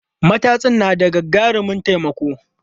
Matatsin na da gagarumin taimako.